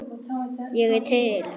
Ég er til.